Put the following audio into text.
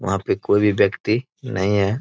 वहाँ पे कोई भी व्यक्ति नहीं है।